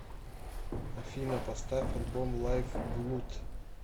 афина поставь альбом лайв блуд